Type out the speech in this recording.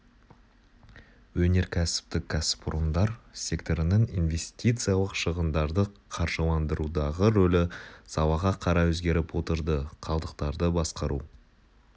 өнеркәсіптік кәсіпорындар секторының инвестициялық шығындарды қаржыландырудағы рөлі салаға қарай өзгеріп отырды қалдықтарды басқару